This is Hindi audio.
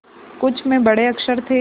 कुछ में बड़े अक्षर थे